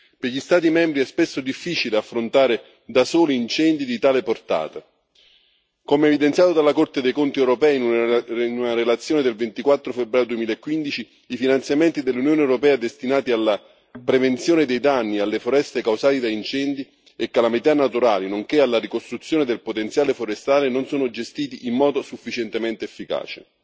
Per gli Stati membri è spesso difficile affrontare da soli incendi di tale portata come evidenziato dalla Corte dei conti europea in una relazione del 24 febbraio 2015, i finanziamenti dell'Unione europea destinati alla prevenzione dei danni alle foreste causati da incendi e calamità naturali, nonché alla ricostruzione del potenziale forestale, non sono gestiti in modo sufficientemente efficace.